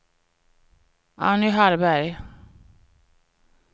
Anny Hallberg